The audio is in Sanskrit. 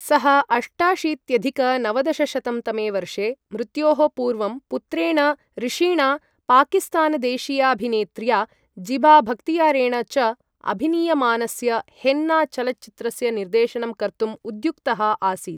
सः अष्टाशीत्यधिक नवदशशतं तमे वर्षे मृत्योः पूर्वं पुत्रेण ऋषिणा, पाकिस्तानदेशीयाभिनेत्र्या ज़ीबाबख्तियारेण च अभिनीयमानस्य हेन्ना चलच्चित्रस्य निर्देशनं कर्तुम् उद्युक्तः आसीत्।